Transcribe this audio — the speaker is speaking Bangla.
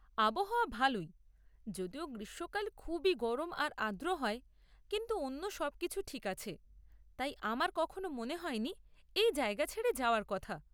আবহাওয়া ভালই, যদিও গ্রীষ্মকাল খুবই গরম আর আর্দ্র হয়, কিন্তু অন্য সব কিছু ঠিক আছে, তাই আমার কখনো মনে হয়নি এই জায়গা ছেড়ে যাওয়ার কথা।